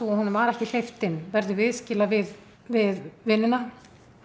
að honum var ekki hleypt inn verður viðskila við við vinina